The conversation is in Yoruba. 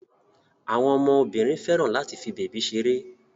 àwọn ọmọ Obìnrin féràn láti fí bebi ṣeré.